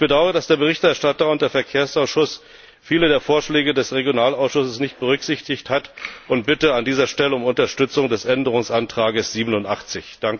Ich bedaure, dass der Berichterstatter und der Verkehrsausschuss viele der Vorschläge des Regionalausschusses nicht berücksichtigt haben und bitte an dieser Stelle um Unterstützung des Änderungsantrags87.